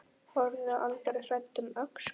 Horfðu aldrei hræddur um öxl!